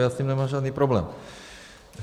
Já s tím nemám žádný problém.